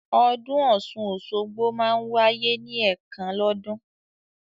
Ọdún Ọ̀sun-Osogbo máa ń wáyé ní ẹ̀kan lọ́dún